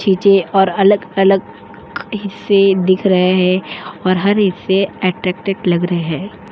खींचे और अलग-अलग हिस्से दिख रहे है > और हर हिस्से अट्रैक्टिव लग रहे।